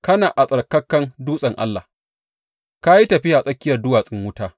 Kana a tsattsarkan dutsen Allah; ka yi tafiya a tsakiyar duwatsun wuta.